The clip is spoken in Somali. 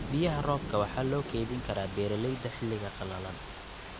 Biyaha roobka waxa loo kaydin karaa beeralayda xilliga qalalan.